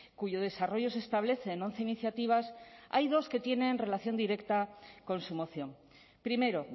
cuyo desarrollo se establece en once iniciativas hay dos que tienen relación directa con su moción primero